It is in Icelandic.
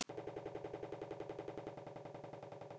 Hún stóð á fætur.